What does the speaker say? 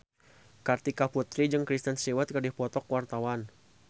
Kartika Putri jeung Kristen Stewart keur dipoto ku wartawan